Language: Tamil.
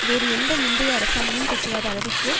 வேறு எந்த முந்தைய அரசாங்கமும் பெற்றிராத அளவிற்கு